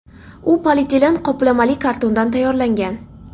U polietilen qoplamali kartondan tayyorlangan.